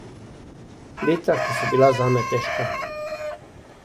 Leta, ki so bila zame težka.